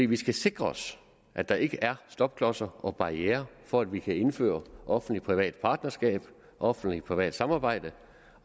vi skal sikre os at der ikke er stopklodser og barrierer for at vi kan indføre offentlig privat partnerskab offentlig privat samarbejde